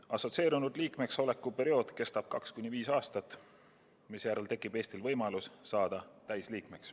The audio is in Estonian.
Assotsieerunud liikmeks oleku periood kestab 2–5 aastat, misjärel tekib Eestil võimalus saada täisliikmeks.